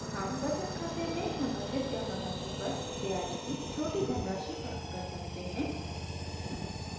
हम बचत खाते में संगठित जमा राशि पर ब्याज की छोटी धनराशि प्राप्त कर सकते हैं